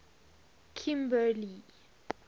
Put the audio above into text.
kimberley